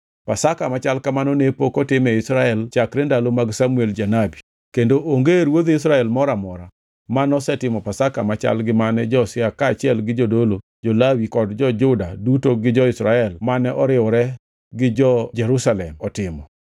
Pasaka machal kamano ne pok otim e Israel chakre ndalo mag Samuel janabi; kendo onge ruodh Israel moro amora ma nosetimo Pasaka machal gi mane Josia kaachiel gi jodolo, jo-Lawi kod jo-Juda duto gi jo-Israel mane oriwore gi jo-Jerusalem otimo.